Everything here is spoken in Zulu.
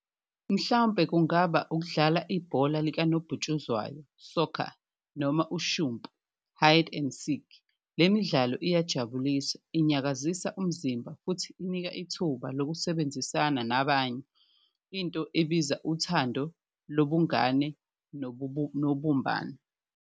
Mhlawumpe kungaba ukudlala ibhola likanobhutshuzwayo soccer, noma ushumpu, hide and seek, le midlalo iyajabulisa, inyakazisa umzimba futhi inika ithuba lokusebenzisana nabanye. Into ebiza uthando lobungane nobumbano.